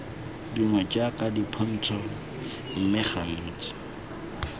dingwe jaaka dipontsho mme gantsi